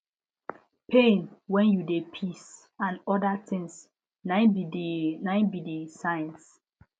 pain when u de piss and other things nai be the nai be the signs